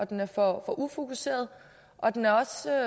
den er for ufokuseret og den er